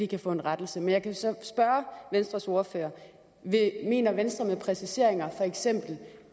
kan få en rettelse men jeg kan så spørge venstres ordfører mener venstre med præciseringer